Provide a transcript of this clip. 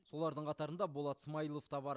солардың қатарында болат смаилов та бар